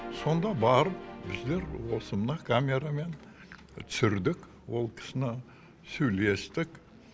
сонда барып біздер осы мына камерамен түсірдік ол кісіні сөйлестік